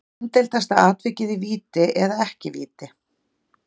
Umdeildasta atvikið Víti eða ekki víti?